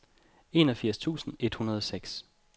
enogfirs tusind et hundrede og seks